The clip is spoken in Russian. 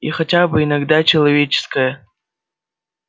и хотя бы иногда человеческая